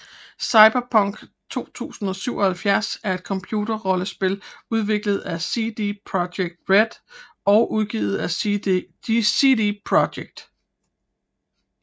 Cyberpunk 2077 er et computerrollespil udviklet af CD Projekt RED og udgivet af CD Projekt